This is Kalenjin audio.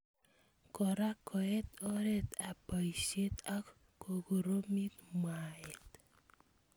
Kora koet oret ab boishet ak kokoromi mwaet.